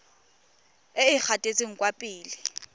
e e gatetseng kwa pele